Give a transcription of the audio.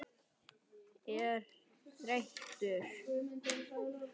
er þreyttur?